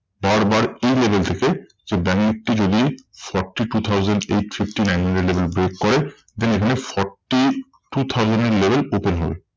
হওয়ার পর এই level থেকে ব্যাঙ্ক নিফটি যদি forty two thousand eight fifty nine hundred level break করে then এখানে forty two thousand এর level open হবে।